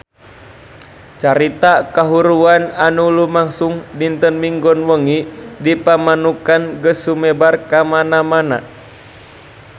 Carita kahuruan anu lumangsung dinten Minggon wengi di Pamanukan geus sumebar kamana-mana